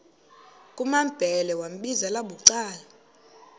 kumambhele wambizela bucala